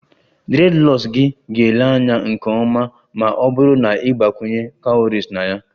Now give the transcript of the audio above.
Dreadlocks gị ga-ele anya nke ọma ma ọ bụrụ na ị gbakwunye cowries na ya